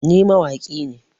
Ni mawaƙi ne